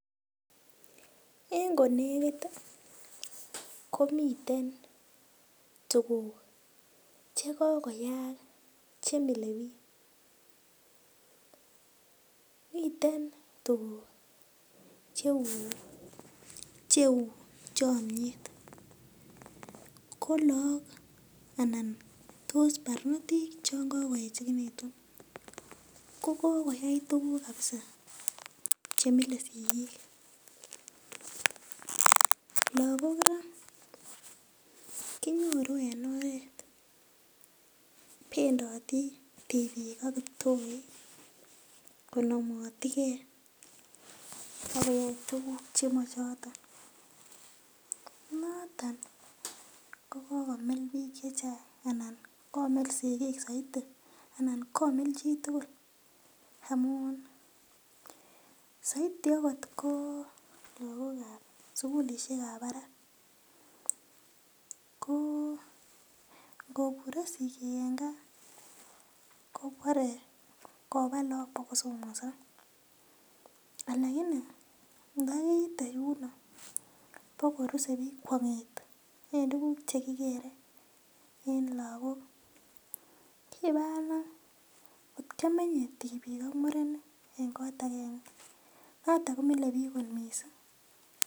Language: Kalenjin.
En konekit ih komiten tuguk chekokoyaak chemile biik, miten tuguk cheu chomyet ko look ana tos barnotik chon kakoechekitun ko kokoyai tuguk kabisa chemile sigik. Lakok ko kinyoru en oret bendoti tibiik ak kiptoik konomotegee akoyoe tuguk chemochoton noton kokokomil biik chechang anan komil sigik soiti anan komil chitugul amun soiti akot ko lakok ab sukulisiek ab barak ko ngobure sigik en gaa kobore koba look bokosomonso lakini ndo kiite yuno bokoruse biik kwong'et en tuguk chekikere en lakok. Kiba alak kot komenye tibiik ak murenik en kot agenge noton komile biik kot missing.